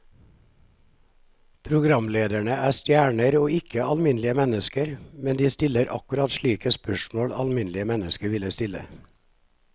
Programlederne er stjerner og ikke alminnelige mennesker, men de stiller akkurat slike spørsmål alminnelige mennesker ville stille.